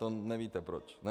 To nevíte proč, ne?